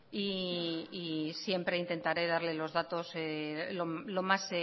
y siempre intentaré darle los datos lo más